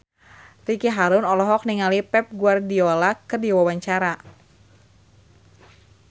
Ricky Harun olohok ningali Pep Guardiola keur diwawancara